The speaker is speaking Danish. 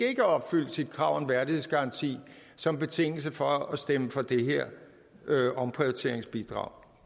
opfyldt sit krav om værdighedsgaranti som betingelse for at stemme for det her omprioriteringsbidrag